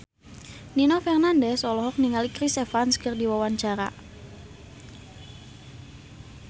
Nino Fernandez olohok ningali Chris Evans keur diwawancara